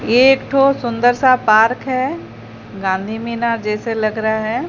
ये एक ठो सुंदर सा पार्क है गांधी जैसे लग रहा हैं।